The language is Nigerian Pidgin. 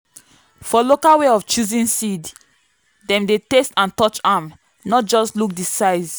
for local way of choosing seed dem dey taste and touch am—not just look the size.